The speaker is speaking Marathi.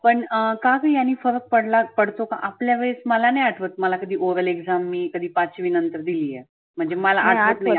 पण काग यानी फरक पडला पडतो का? आपल्या वेळेस मला नाही आठवत मला कधी oral exam मी कधी पाचवी नंतर दिली आहे. म्हणजे आठवत